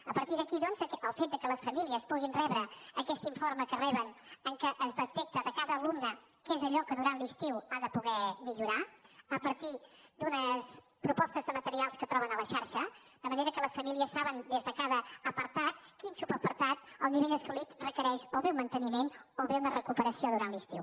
a partir d’aquí doncs el fet que les famílies puguin rebre aquest informe que reben en què es detecta de cada alumne què és allò que durant l’estiu ha de poder millorar a partir d’unes propostes de materials que troben a la xarxa de manera que les famílies saben des de cada apartat quin subapartat el nivell assolit requereix o bé un manteniment o bé una recuperació durant l’estiu